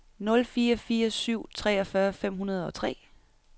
nul fire fire syv treogfyrre fem hundrede og tre